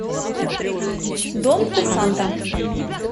дом курсанта